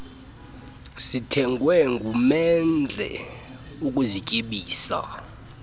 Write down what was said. zithengwe ngumendle ukuzityebisa